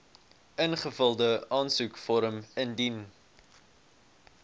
ingevulde aansoekvorm indien